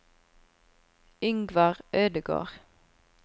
Yngvar Ødegård